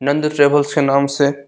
Nand travels के नाम से --